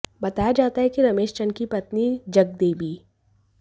बताया जाता है कि रमेश चंद्र की पत्नी जगदेवी